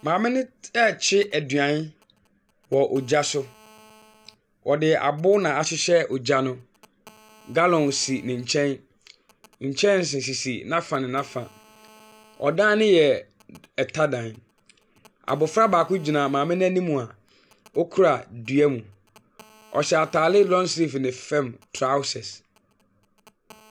Maame no t rekye aduane wɔ gya so. Ɔde abo na ahyehyɛ ogya no. Gallon si ne nkyɛn. Nkyɛnse sisi n'afa ne n'afa. Ɔdan no yɛ tadan. Abɔfra baako gyina maame no anim a, ɔkura duam. Ɔhyɛ atade long sleeves ne fam trousers.